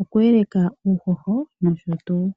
oku eleka uuhoho nosho tuu.